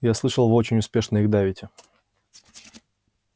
я слышал вы очень успешно их давите